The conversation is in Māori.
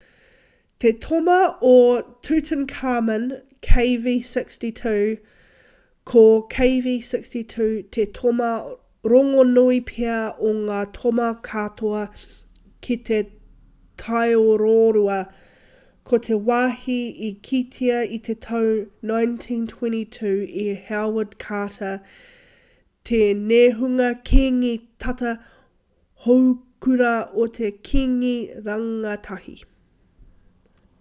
te toma o tutankhamun kv62. ko kv62 te toma rongonui pea o ngā toma katoa ki te taiororua ko te wāhi i kitea i te tau 1922 e howard carter te nehunga kīngi tata houkura o te kīngi rangatahi